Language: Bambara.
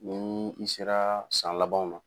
Ni mun sera san labanw na.